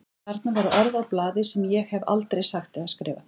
Þarna voru orð á blaði sem ég hef aldrei sagt eða skrifað.